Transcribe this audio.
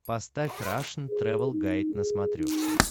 поставь рашн тревел гайд на смотрешке